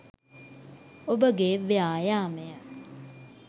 ඔබගේ ව්‍යායාමය